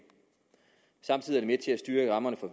samtidig med til at styrke rammerne for